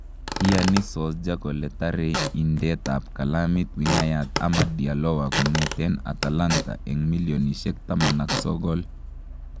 iyani Solskjaer kole tare indeetap kalmit wingayat Amad Diallowa kongeten Atalanta ag �19m